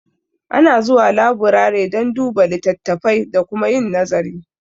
Ana zuwa laburare don duba litattafai da kuma yin nazari